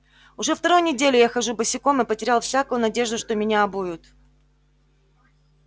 уже вторую неделю я хожу босиком и потерял всякую надежду что меня обуют